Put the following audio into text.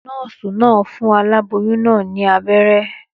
Nòòsì naa n fun aláboyún naa ní abéré